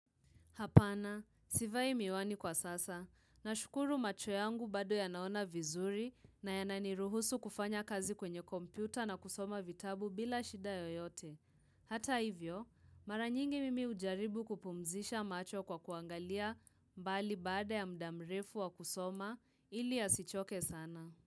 Hapana, sivai miwani kwa sasa, na shukuru macho yangu bado yanaona vizuri na yananiruhusu kufanya kazi kwenye kompyuta na kusoma vitabu bila shida yoyote. Hata hivyo, maranyingi mimi hujaribu kupumzisha macho kwa kuangalia mbali baada ya mdamrefu wa kusoma ili asichoke sana.